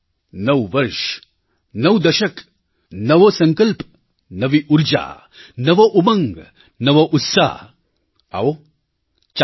નવું વર્ષ નવું દશક નવો સંકલ્પ નવી ઊર્જા નવો ઉમંગ નવો ઉત્સાહ આવો ચાલીએ